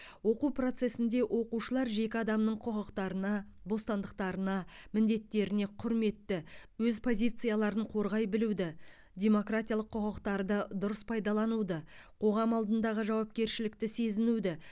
оқу процесінде оқушылар жеке адамның құқықтарына бостандықтарына міндеттеріне құрметті өз позицияларын қорғай білуді демократиялық құқықтарды дұрыс пайдалануды қоғам алдындағы жауапкершілікті сезінуді